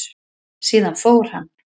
Síðan fór hann.